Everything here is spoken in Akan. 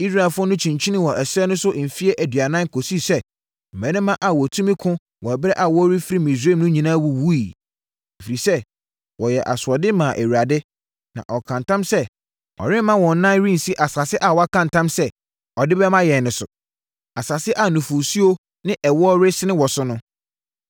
Israelfoɔ no kyinkyinii wɔ ɛserɛ no so mfeɛ aduanan kɔsii sɛ mmarima a wɔtumi ko wɔ ɛberɛ a wɔrefiri Misraim no nyinaa wuwuiɛ. Ɛfiri sɛ, wɔyɛɛ asoɔden maa Awurade, na ɔkaa ntam sɛ ɔremma wɔn nan rensi asase a waka ntam sɛ ɔde bɛma yɛn no so, asase a nufosuo ne ɛwoɔ resene wɔ so no.